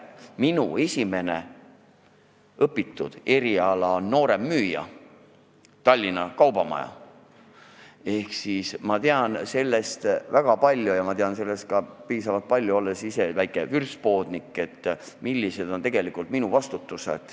Minu esimene õpitud eriala on nooremmüüja Tallinna Kaubamajas ehk ma tean sellest alast väga palju ja ma tean sellest piisavalt palju ka seetõttu, et olen ise väike vürtspoodnik, ma tean, milline on tegelikult minu vastutus.